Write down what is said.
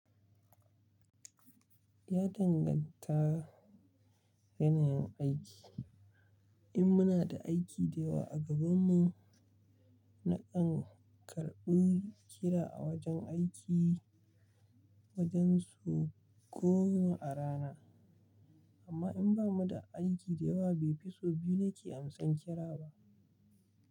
Ya danganta da yanayin aiki. In muna da aiki da yawa a gabanmu, na kan karɓi kira a wajen aiki, wajen sau goma a rana. Amma in ba mu da aiki da yawa, bai fi sau biyu ne ke amsan kira ba.